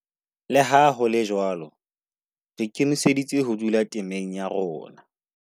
Le ha ho le jwalo, re ikemiseditse ho dula temeng ya rona.